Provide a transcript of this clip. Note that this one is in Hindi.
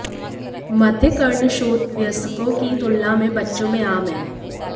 मध्यकर्णशोथ वयस्कों की तुलना में बच्चों में आम है